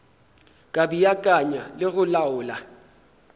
ka beakanya le go laola